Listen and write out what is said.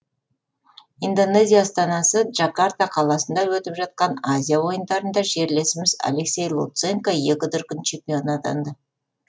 индонезия астанасы джакарта қаласында өтіп жатқан азия ойындарында жерлесіміз алексей луценко екі дүркін чемпион атанды